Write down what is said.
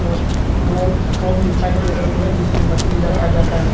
और दो फोम दिखाई दे रही है जिसमें मछली रखा जाता है।